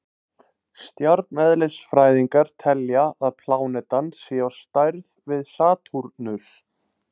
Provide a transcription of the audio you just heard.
Stjarneðlisfræðingar telja að plánetan sé á stærð við Satúrnus.